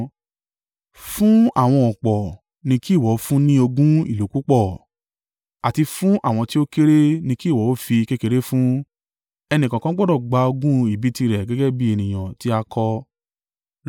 Fún àwọn ọ̀pọ̀ ni kí ìwọ ó fún ní ogún ìlú púpọ̀ àti fún àwọn tí ó kéré ni kí ìwọ ó fi kékeré fún, ẹnìkọ̀ọ̀kan gbọdọ̀ gba ogún ìbí tirẹ̀ gẹ́gẹ́ bí ènìyàn tí a kọ.